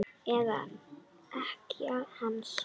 Eða ekkja hans?